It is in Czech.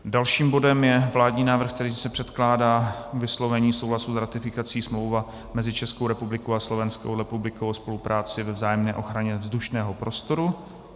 Dalším bodem je vládní návrh, kterým se předkládá k vyslovení souhlasu s ratifikací Smlouva mezi Českou republikou a Slovenskou republikou o spolupráci při vzájemné ochraně vzdušného prostoru.